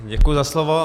Děkuji za slovo.